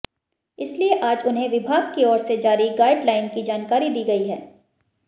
इसलिए आज उन्हें विभाग की ओर से जारी गाइडलाइन की जानकारी दी गई है